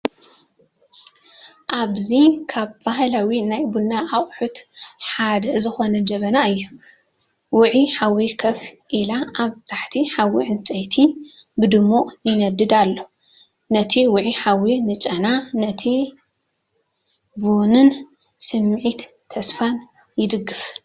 ኣብዚ ካብ ባህላው ናይ ቡና ኣቅሕት ሓድ ዝኮነ ጀበና እዩ። ውዑይ ሓዊ ኮፍ ኢላ፡ ኣብ ታሕቲ ሓዊ ዕንጨይቲ ብድሙቕ ይነድድ ኣሎ። እቲ ውዑይ ሓዊ ንጨና ናይቲ ቡንን ስምዒት ተስፋን ይድግፍ።